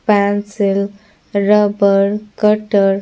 pencil rubber cutter --